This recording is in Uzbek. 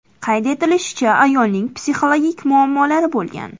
Qayd etilishicha, ayolning psixologik muammolari bo‘lgan.